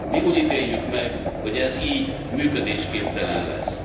Mi úgy ítéljük meg, hogy ez így működésképtelen lesz.